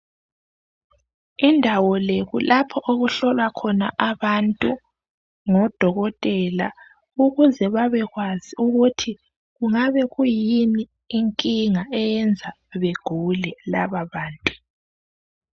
Indawo le kulapho okuhlolwa khona abantu ngodokotela ukuze babe kwazi ukuthi kungabe kuyini inkinga eyenza bagule lababantu.